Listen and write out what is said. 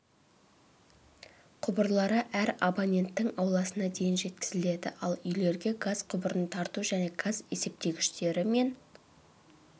құбырлары әр абоненттің ауласына дейін жеткізіледі ал үйлерге газ құбырын тарту және газ есептегіштері мен